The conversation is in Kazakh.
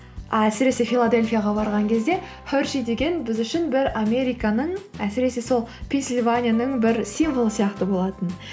әсіресе филадельфияға барған кезде хершей деген біз үшін бір американың әсіресе сол пенсильванияның бір символы сияқты болатын